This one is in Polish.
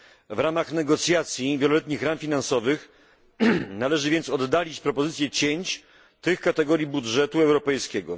W ramach negocjacji nad wieloletnimi ramami finansowymi należy więc oddalić propozycję cięć w tych kategoriach budżetu europejskiego.